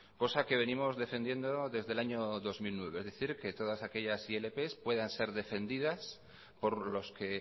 cosa que venimos defendiendo desde el año dos mil nueve es decir que todas aquellas ilp puedan ser defendidas por los que